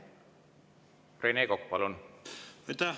Rene Kokk, palun!